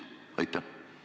Väga lugupeetud arupärijad!